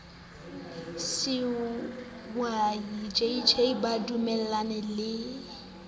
skweyiya jj ba dumellaneng le